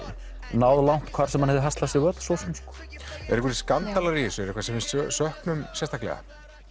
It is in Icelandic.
náð langt hvar sem hann hefði haslað sér völl eru einhverjir skandalar í þessu eitthvað sem við söknum sérstaklega